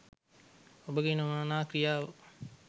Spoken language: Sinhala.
ඔබගේ නොමනා ක්‍රියාව